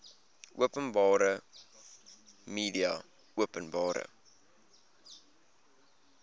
openbare media openbare